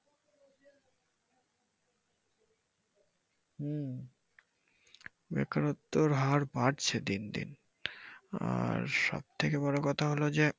হম বেকারত্বের হার বাড়ছে দিন দিন আর সবথেকে বড় কথা হলো যে,